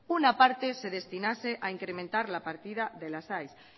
una parte se destinase a incrementar la partida de las aes